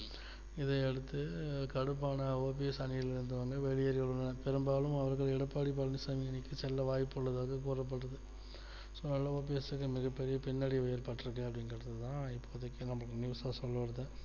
இதை அடுத்து கடுப்பான OPS அணியில் இருந்து வெளியேறிஉள்ளனர் பெரும்பாலும் அவர்கள் எடப்பாடி பழனிசாமி விட்டு செல்ல வாய்ப்புள்ளதாக கூறப்படுகிறது so இதுனால OPS க்கு மிகப்பெரிய பின்னடைவு ஏற்பட்டிருக்கு அப்படின்றதுதா இப்போதக்கி news ல சொல்ல வருது